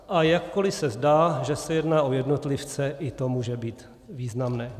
A jakkoliv se zdá, že se jedná o jednotlivce, i to může být významné.